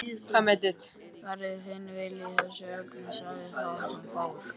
Verði þinn vilji í þessu efni sagði sá sem fór.